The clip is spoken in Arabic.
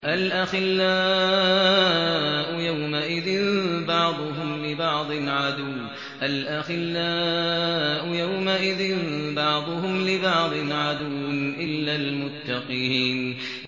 الْأَخِلَّاءُ يَوْمَئِذٍ بَعْضُهُمْ لِبَعْضٍ عَدُوٌّ إِلَّا الْمُتَّقِينَ